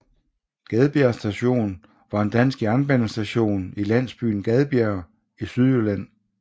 Gadbjerg Station var en dansk jernbanestation i landsbyen Gadbjerg i Sydjylland